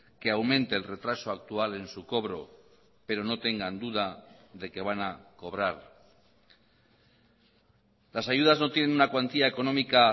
que aumente el retraso actual en su cobro pero no tengan duda de que van a cobrar las ayudas no tienen una cuantía económica